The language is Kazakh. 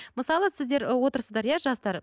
мысалы сіздер отырсыздар иә жастар